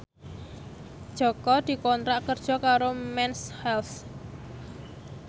Jaka dikontrak kerja karo Mens Health